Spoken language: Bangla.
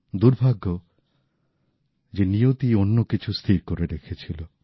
দুর্ভাগ্য যে নিয়তি অন্য কিছু স্থির করে রেখেছিল